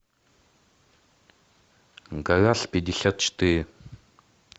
гараж пятьдесят четыре